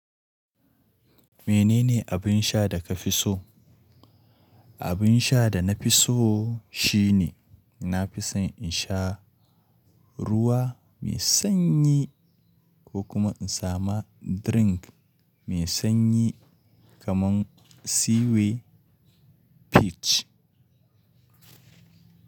Menene abin sha da ka fi so? Abin sha da na fi so shine na fi son in sha ruwa mai sanyi ko kuma in sami drink mai sanyi kamar Ceeway Peach.